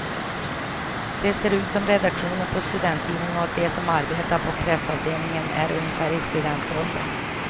Det ser ut som redaktionen på en studenttidning och de som arbetar på pressavdelningen är ungefär i studentåldern.